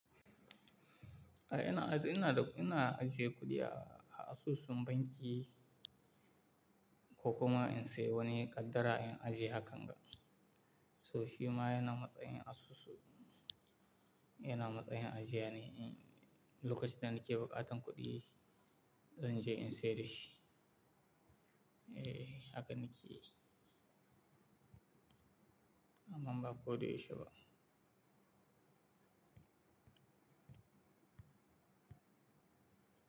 Eh, ina, ina, ina ajiye kuɗi a asusun banki ko kuma in sayi wani kaddara in ajiye akanga. So shi ma yana matsayin asusu, yana matsayin ajiye ne. Lokacin da na nake baƙatan kuɗi, zan je in sai da shi. Eh, haka na ke yi. Amma ba koda yaushe ba.